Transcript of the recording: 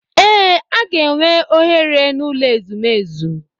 Ee, a ga-enwe oghere n'ụlọ ezumezu.